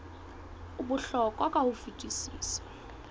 o bohlokwa ka ho fetisisa